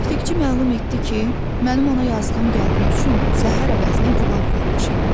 Aptekçi məlum etdi ki, mənim ona yazdığım gəldiyi üçün zəhər əvəzinə gülab vermişəm.